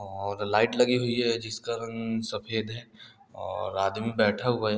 और लाइट लगी हुई है जिसका रंग सफ़ेद है और आदमी बैठा हुआ है।